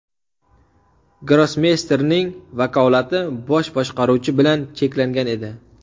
Grossmeysterning vakolati Bosh boshqaruvchi bilan cheklangan edi.